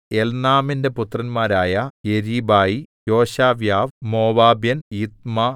എൽനാമിന്റെ പുത്രന്മാരായ യെരീബായി യോശവ്യാവ് മോവാബ്യൻ യിത്ത്മാ